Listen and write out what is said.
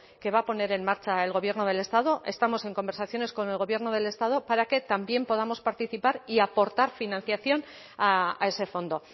que va a poner en marcha el gobierno del estado estamos en conversaciones con el gobierno del estado para que también podamos participar y aportar financiación a ese fondo